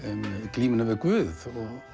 glímuna við Guð